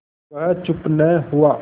वह चुप न हुआ